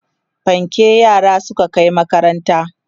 fanke yaran zasu Kai makaranta